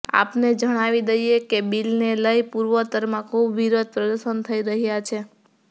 આપને જણાવી દઇએ કે બિલને લઇ પૂર્વોત્તરમાં ખૂબ વિરોધ પ્રદર્શન થઇ રહ્યાં છે